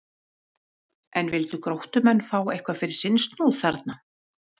En vildu Gróttumenn fá eitthvað fyrir sinn snúð þarna?